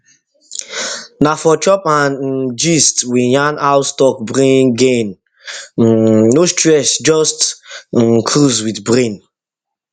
na for chop and um gist we yarn how stock bring gain um no stress just um cruise with brain